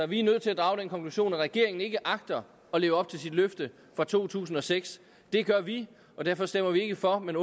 vi nødt til at drage den konklusion at regeringen ikke agter at leve op til sit løfte fra to tusind og seks det gør vi og derfor stemmer vi ikke for men